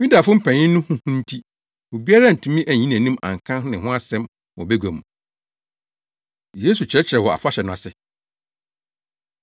Yudafo mpanyin no ho hu nti obiara antumi anyi nʼanim anka ne ho asɛm wɔ bagua mu. Yesu Kyerɛkyerɛ Wɔ Afahyɛ No Ase